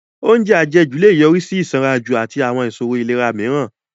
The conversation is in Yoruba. Oúnjẹ àjẹjù lè yọrí sí ìsanranjù àti àwọn ìṣòro ìlera mìíràn